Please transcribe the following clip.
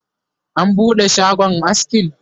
an buɗe shagon askin?